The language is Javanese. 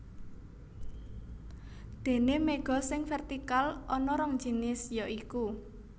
Déné méga sing vértikal ana rong jinis ya iku